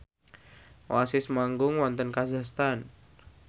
Oasis manggung wonten kazakhstan